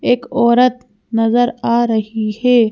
एक औरत नजर आ रही है।